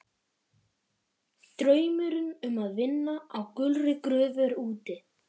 Draumurinn um að vinna á gulri gröfu er úti.